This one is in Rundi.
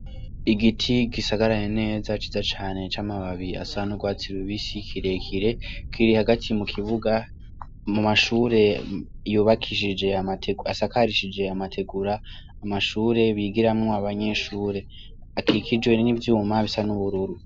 Igiti gisagaraye neza cyiza cane, camababi asa nurwatsi rubisi kirekire kiri Hagati mu kibuga .Mu mashure yubakishije amategura ,asakarije amatigura. amashure bigiraramwo abanyeshure akikijijwe nivyuma bisa nubururu.